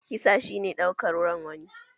Kisa shi ne ɗaukar ran wani